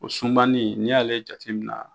O sunbanin n'i y'ale jate mina